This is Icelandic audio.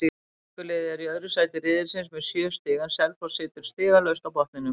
Grindavíkurliðið er í öðru sæti riðilsins með sjö stig en Selfoss situr stigalaust á botninum.